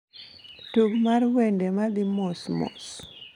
Tug mar wende ma dhi mos mos